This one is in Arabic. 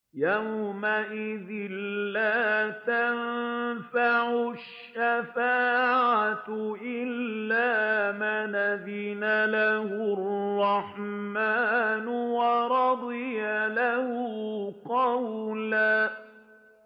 يَوْمَئِذٍ لَّا تَنفَعُ الشَّفَاعَةُ إِلَّا مَنْ أَذِنَ لَهُ الرَّحْمَٰنُ وَرَضِيَ لَهُ قَوْلًا